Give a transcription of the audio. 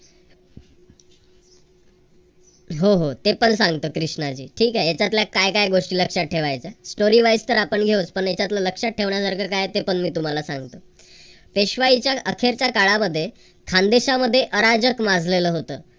हो हो ते पण ते पण सांगत कृष्णाजी. ठीक आहे त्याच्यातल्या काय काय गोष्टी लक्षात ठेवायच्या. story wise तर आपण घेऊचं पण याच्यातल्या लक्षात ठेवण्यासारखं काय आहे ते पण मी तुम्हाला सांगीन. पेशवाईच्या अखेरच्या काळामध्ये खानदेशामध्ये अराजक माजलेलं होतं.